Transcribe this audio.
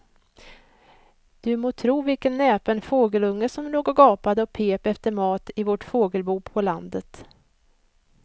Du må tro vilken näpen fågelunge som låg och gapade och pep efter mat i vårt fågelbo på landet.